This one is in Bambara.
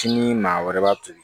Tini maa wɛrɛ b'a toli